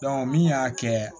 min y'a kɛ